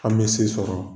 An bɛ se sɔrɔ